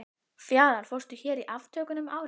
Fjalar fórst hér í aftökunum um árið.